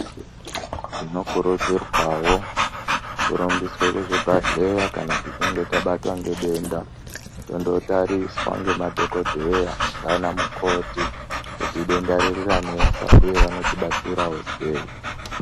Tinokurudzirwawo kurumbiswe kuzvibhedleya kana tichinge tabatwa ngentenda tonotariswa ngemadhogodheya naana mukoti kuti denda ririranesa vanotibatsirawo seyi